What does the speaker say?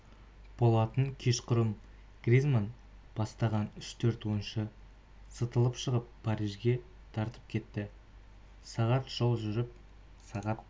болатын кешқұрым гризманн бастаған үш-төрт ойыншы сытылып шығып парижге тартып кетті сағат жол жүріп сағат